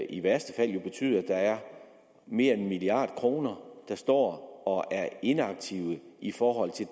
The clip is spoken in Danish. i værste fald betyde at der er mere end en milliard kr der står og er inaktive i forhold til